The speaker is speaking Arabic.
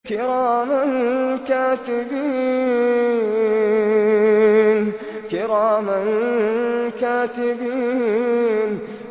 كِرَامًا كَاتِبِينَ